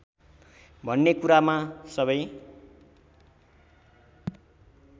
भन्ने कुरामा सबै